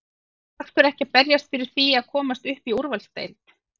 Af hverju ekki að berjast fyrir því að komast upp í úrvalsdeild?